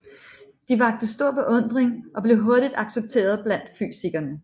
De vakte stor beundring og blev hurtigt accepteret blandt fysikerne